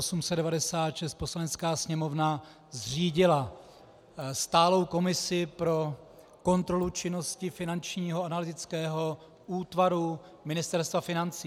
Poslanecká sněmovna zřídila stálou komisi pro kontrolu činnosti Finančního analytického útvaru Ministerstva financí.